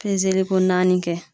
Pezeliko naani kɛ.